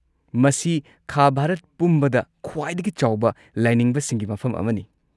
ꯃꯁꯤ ꯈꯥ ꯚꯥꯔꯠ ꯄꯨꯝꯕꯗ ꯈ꯭ꯋꯥꯏꯗꯒꯤ ꯆꯥꯎꯕ ꯂꯥꯏꯅꯤꯡꯕꯁꯤꯡꯒꯤ ꯃꯐꯝ ꯑꯃꯅꯤ꯫